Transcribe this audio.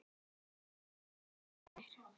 Karlinn er elliær.